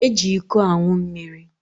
Eji iko anwụ mmiri.